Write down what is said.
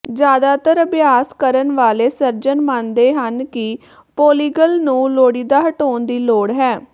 ਜ਼ਿਆਦਾਤਰ ਅਭਿਆਸ ਕਰਨ ਵਾਲੇ ਸਰਜਨ ਮੰਨਦੇ ਹਨ ਕਿ ਪੌਲੀਗਲ ਨੂੰ ਲੋੜੀਂਦਾ ਹਟਾਉਣ ਦੀ ਲੋੜ ਹੈ